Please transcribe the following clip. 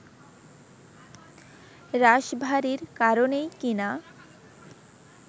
রাশভারীর কারণেই কি না